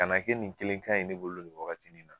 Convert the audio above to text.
A na kɛ nin kelen kaɲi ne bolo ni wagat nin na